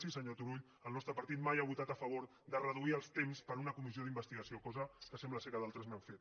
sí senyor turull el nostre partit mai ha votat a favor de reduir els temps per a una comissió d’investigació cosa que sembla que d’altres han fet